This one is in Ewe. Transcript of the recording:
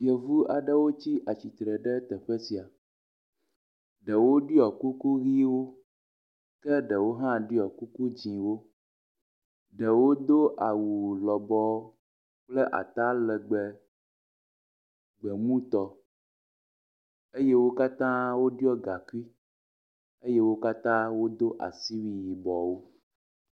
Yevu aɖewo tsi atsitre ɖe teƒe sia. Ɖewo ɖiɔ kuku ʋiwo ke ɖewo hã ɖiɔ kuku dzɛ̃wo, ɖewo do awu lɔbɔ̃ kple atalegbẽ gbemutɔ eye wo katã woɖɔ gakui eye wo katã wodo asiwui yibɔwo.